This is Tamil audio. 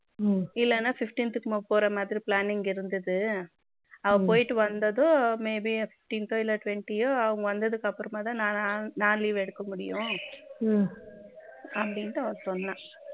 இல்லன்னா fifteenth க்கு போற மாதிரி பிளான் இருந்தது அவ போயிட்டு வந்ததும் maybe fifteenth தோ twenty யோ அவ வந்ததுக்கு அப்புறமா தான் நான் leave எடுக்க முடியும் அப்படின்னு அவ சொன்னா